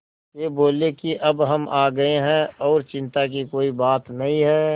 वे बोले कि अब हम आ गए हैं और चिन्ता की कोई बात नहीं है